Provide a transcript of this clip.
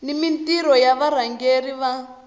ni mintirho ya varhangeri va